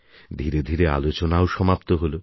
ধীরে ধীরে আলোচনাও সমাপ্ত হল